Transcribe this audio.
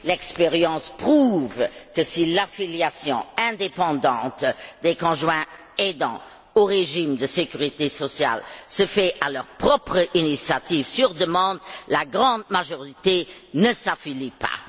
L'expérience prouve que, si l'affiliation indépendante des conjoints aidants au régime de sécurité sociale se fait à leur propre initiative, sur demande, la grande majorité d'entre eux ne s'affilie pas.